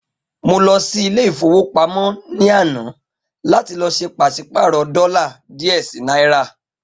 Mo lọ sí Ilé-ìfowópamó ní àná láti lọ sé pàsípààrò dólà díè sí náírà.